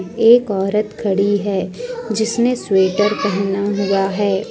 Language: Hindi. एक औरत खड़ी है जिसने स्वेटर पहना हुआ है।